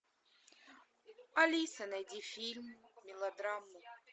алиса найди фильм мелодраму